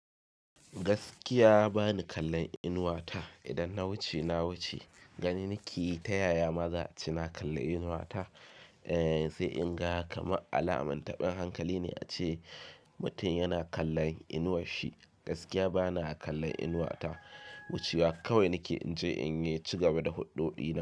Gaskiya bani kallon inuwa ta. Idan na wuce, na wuce. Gani nike ta yaya ma za ce na kalli inuwa ta, eh, sai in ga kamar alamun taɓin hankali ne ace mutum yana kallon inuwash shi. Gaskiya bana kallon inuwa ta. Wucewa kawai nake. In je in yi cigaba da huɗɗo ɗina.